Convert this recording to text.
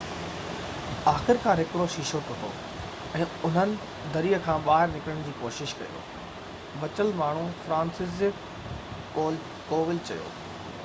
آخرڪار هڪڙو شيشو ٽٽو ۽ انهن دري کان ٻاهر نڪرڻ شروع ڪيو بچيل ماڻهو فرانسسزيڪ ڪوول چيو